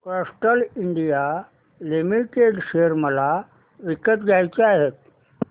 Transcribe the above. Castrol India limited share मला विकत घ्यायचे आहेत